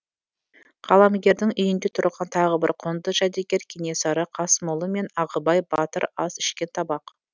қаламгердің үйінде тұрған тағы бір құнды жәдігер кенесары қасымұлы мен ағыбай батыр ас ішкен табақ